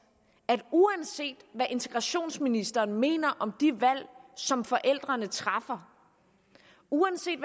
at uanset hvad integrationsministeren mener om de valg som forældrene træffer uanset